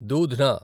దూధ్న